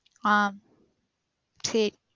ஆஹ் சேரி